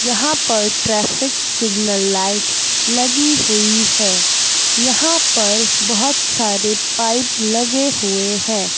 यहां पर traffic signal light लगी हुई है यहां पर बहुत सारे पाईप लगे हुए हैं।